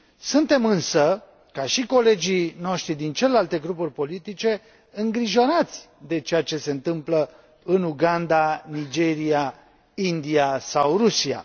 Suntem, însă, ca și colegii noștri din celelalte grupuri politice, îngrijorați de ceea ce se întâmplă în Uganda, Nigeria, India sau Rusia.